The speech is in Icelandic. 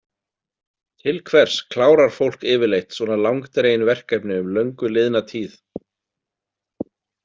Til hvers klárar fólk yfirleitt svona langdregin verkefni um löngu liðna tíð?